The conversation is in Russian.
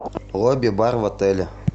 лобби бар в отеле